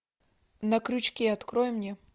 на крючке открой мне